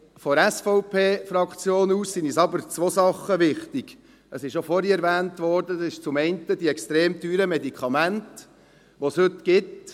Aus Sicht der SVP-Fraktion sind zwei Dinge wichtig – es wurde vorhin auch erwähnt –, zum einen die extrem teuren Medikamente, die es heute gibt.